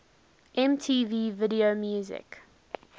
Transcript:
mtv video music